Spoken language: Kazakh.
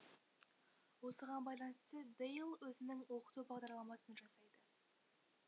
осыған байланысты дейл өзінің оқыту бағдарламасын жасайды